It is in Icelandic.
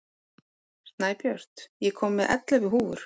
Snæbjört, ég kom með ellefu húfur!